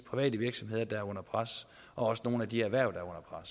private virksomheder der er under pres og også nogle af de erhverv